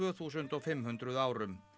þúsund og fimm hundruð árum